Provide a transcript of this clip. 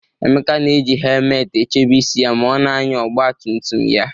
Emeka na-eji hemelt echebe isi ya ma ọ na-anya ọgba tum tum ya